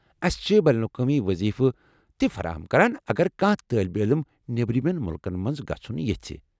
أسہِ چھِ بین الاقوٲمی وضیفہٕ تہ فراہم کران اگر کانٛہہ طٲلب علم نبرمین مُلکن منٛز گژُھن یژھہِ ۔